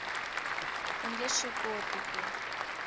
u nge swi koti ku